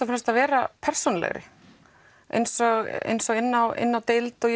fremst að vera persónulegri eins eins og inni á inni á deild og